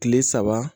Kile saba